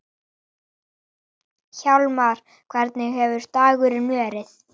Hjálmar, hvernig hefur dagurinn verið?